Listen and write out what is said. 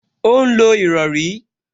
Ó ń lo ìrọrí